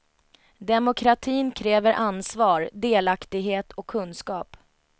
Demokratin kräver ansvar, delaktighet och kunskap.